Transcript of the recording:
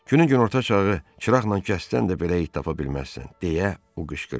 Günorta çağı çıraqla kəssən də belə it tapa bilməzsən, deyə o qışqırdı.